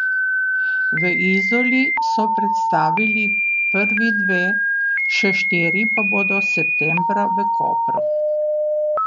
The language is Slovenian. V Izoli so predstavili prvi dve, še štiri pa bodo septembra v Kopru.